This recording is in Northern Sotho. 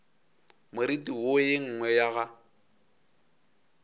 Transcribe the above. moriti wo ye nngwe ya